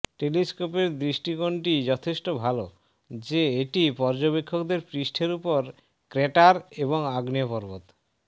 টেলিস্কোপের দৃষ্টিকোণটি যথেষ্ট ভাল যে এটি পর্যবেক্ষকদের পৃষ্ঠের উপর ক্র্যাটার এবং আগ্নেয় পর্বত